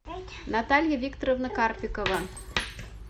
наталья викторовна карпикова